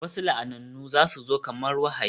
Wasu la'anannu za su zo kamar wahayi